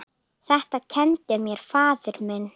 Þetta kenndi mér faðir minn.